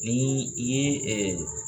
N'i i ye